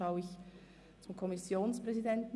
Ich blicke zum Kommissionspräsidenten.